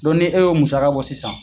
e ye o musaka bɔ sisan